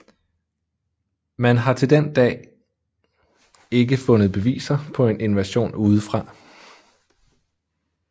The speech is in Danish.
Man har til den dag ikke fundet beviser på en invasion udefra